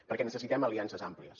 perquè necessitem aliances àmplies